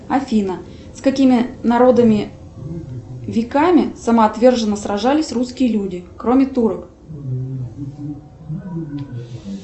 афина с какими народами веками самоотверженно сражались русские люди кроме турок